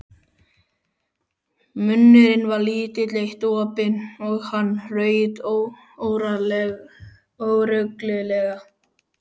Munnurinn var lítið eitt opinn og hann hraut óreglulega.